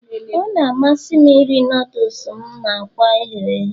Ọ na-amasị m iri noodles m na akwa ehere ehe